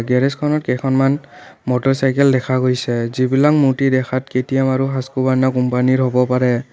গেৰেজখনত কেইখনমান মটৰচাইকেল দেখা গৈছে যিবিলাক দেখাত হাছকুভাৰনা কোম্পানীৰ হব পাৰে।